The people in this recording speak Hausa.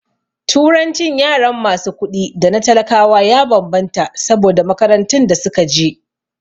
Turancin yaran masu kuɗi da na talakawa ya bambanta saboda makarantun da suka je